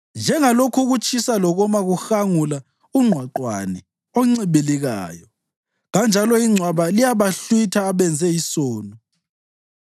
Njengalokhu ukutshisa lokoma kuhangula ungqwaqwane oncibilikayo, kanjalo ingcwaba liyabahlwitha abenze isono.